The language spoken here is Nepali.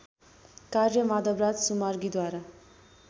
कार्य माधवराज सुमार्गीद्वारा